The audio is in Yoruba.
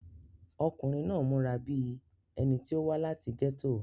ọkùnrin náà múra bíi ẹni tí ó wá láti gẹ́tò